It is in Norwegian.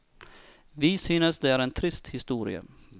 Vi synes det er en trist historie.